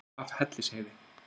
upp af hellisheiði